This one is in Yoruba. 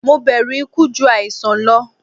Mo bẹru iku ju aisan lọ